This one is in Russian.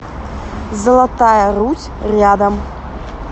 золотая русь рядом